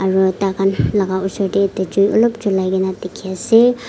aro takhan laga osor deh ekta jui olop julai gina dikhi asey.